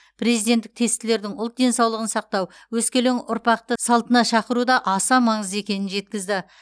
президенттік тестілердің ұлт денсаулығын сақтау өскелең ұрпақты салтына шақыру да аса маңызды екенін жеткізді